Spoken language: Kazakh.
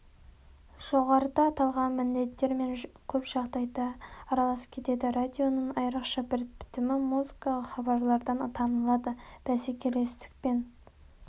жоғарыда аталған міндеттер көп жағдайда араласып кетеді радионың айрықша бір бітімі музыкалық хабарлардан танылады бәсекелестік пен